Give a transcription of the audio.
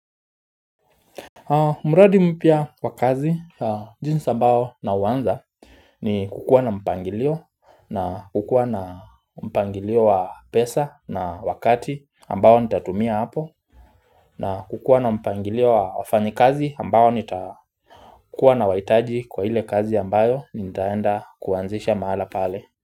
Mradi mpya wa kazi jinsi ambayo nauanza ni kukua na mpangilio na kukua na mpangilio wa pesa na wakati ambayo nitatumia hapo na kukua na mpangilio wa wafanyikazi ambao nitakuwa nawahitaji kwa ile kazi ambayo nitaenda kuanzisha mahala pale.